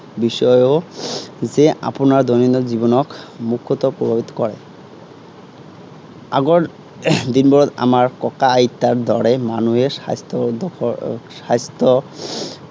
বিষয়েও যে আপোনাৰ দৈনন্দিন জীৱনক কৰে। আগৰ দিনত এৰ আমাৰ ককা আইতাৰ দৰে মানুহে স্বাস্থ্য়ৰ লগত এৰ স্বাস্থ্য়